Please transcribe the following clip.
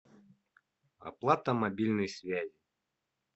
оплата мобильной связи